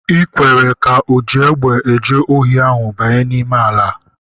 I kwere ka oji egbe eje ohi ahụ banye n'ime ala!